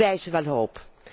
Bieden wij ze wel hoop?